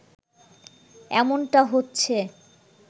এমনটা হচ্ছে